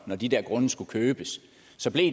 når de der grunde skulle købes